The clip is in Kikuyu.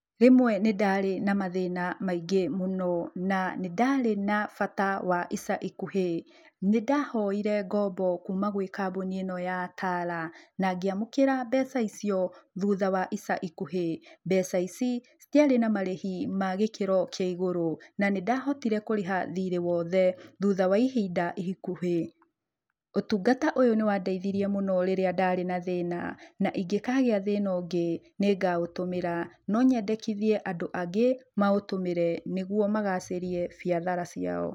Rĩmwe nĩ ndarĩ na mathĩna maingĩ mũno na nĩ ndarĩ na bata wa ica ikuhĩ, nĩ ndahoire ngombo kũma gwĩ kambuni ĩno ya Tala na ngĩamũkĩra mbeca icio thutha wa ica ikuhĩ. Mbeca ici citiarĩ na marĩhi ma gĩkĩro kĩa iguru na nĩ ndahotire kũrĩha thirĩ wothe thutha wa ĩhinda ikuhĩ. Ũtungata ũyũ nĩ wa ndeithirie mũno rĩrĩa ndarĩ na thĩna na ingĩkagĩa thĩna ũngĩ nĩ ngaũtũmĩra. No nyendĩkithie andũ angĩ maũtũmĩre nĩguo magacĩrie biacara ciao.